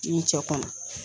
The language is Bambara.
N'i mi cɛ kɔnɔ